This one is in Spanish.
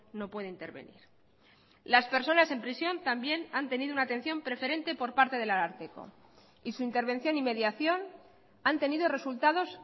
no puede intervenir las personas en prisión también han tenido una atención preferente por parte del ararteko y su intervención y mediación han tenido resultados